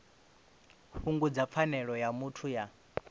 fhungudza pfanelo ya muthu ya